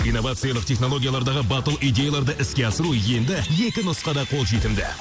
инновациялық технологиялардағы батыл идеяларды іске асыру енді екі нұсқада қол жетімді